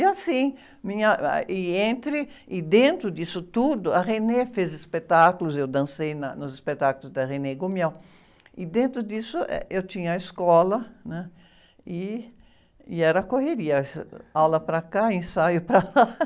E assim, minha, ah, e entre, e dentro disso tudo, a fez espetáculos, eu dancei na, nos espetáculos da, e dentro disso, eh, eu tinha a escola, e, e era correria, aula para cá, ensaio para lá.